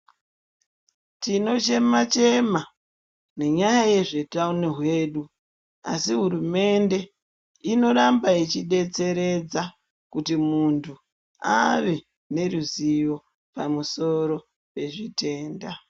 Tinochema chema ngenyaya yezveutano hwedu asi hurumende inoramba ichidetseredza kuti munthu ave neruzivo pamusoro pezvitenda.